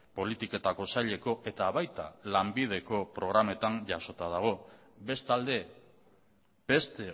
politiketako saileko eta baita lanbideko programetan ere jasota dago bestalde beste